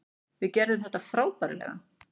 Við gerðum þetta frábærlega.